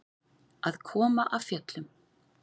Að koma af fjöllum